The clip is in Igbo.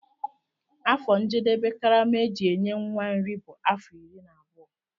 Afọ njedebe karama eji enye nwa nri bu afọ iri na abụọ.